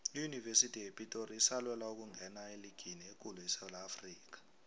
iyunivesithi yepitori isalwela ukungena eligini ekulu esewula afrikha